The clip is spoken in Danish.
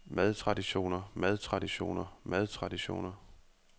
madtraditioner madtraditioner madtraditioner